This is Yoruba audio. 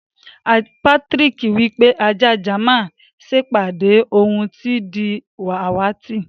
Patrick wípé ajá jáman sepàdí òun ti di àwàtì.